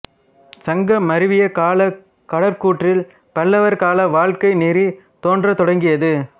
சங்க மருவிய கால கடைக்கூற்றில் பல்லவர் கால வாழ்க்கை நெறி தோன்றத் தொடங்கியது